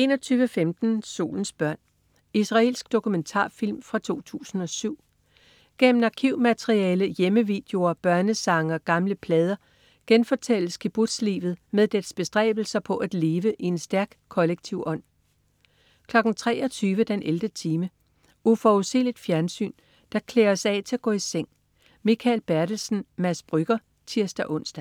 21.15 Solens børn. Israelsk dokumentarfilm fra 2007. Gennem arkivmateriale, hjemmevideoer, børnesange og gamle plader genfortælles kibbutzlivet med dets bestræbelser på at leve i en stærk kollektiv ånd 23.00 den 11. time. Uforudsigeligt fjernsyn, der klæder os af til at gå i seng. Mikael Bertelsen/Mads Brügger (tirs-ons)